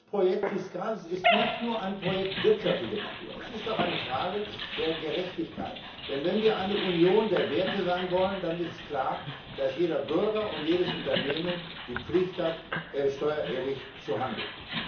Dieses Projekt FISCALIS ist nicht nur ein Projekt wirtschaftlicher Natur. Es ist auch eine Frage der Gerechtigkeit. Denn wenn wir eine Union der Werte sein wollen, dann ist es klar, dass jeder Bürger und jedes Unternehmen die Pflicht hat, steuerehrlich zu handeln.